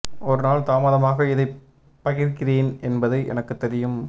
ஒரு நாள் தாமதமாக இதைப் பகிர்கிறேன் என்பது எனக்குத் தெரியும்